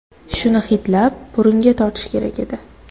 Shuni hidlab, burunga tortish kerak edi.